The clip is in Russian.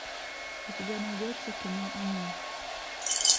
у тебя найдется кино они